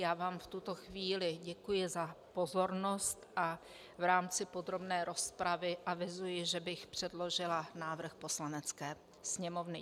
Já vám v tuto chvíli děkuji za pozornost a v rámci podrobné rozpravy avizuji, že bych předložila návrh Poslanecké sněmovny.